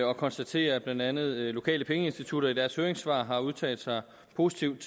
og konstaterer at blandt andet lokale pengeinstitutter i deres høringssvar har udtalt sig positivt